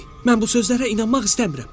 “Mən bu sözlərə inanmaq istəmirəm.”